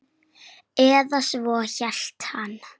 Eða svo hélt hann.